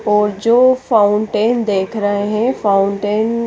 और जो फाउन्टेन देख रहे है फाउन्टेन --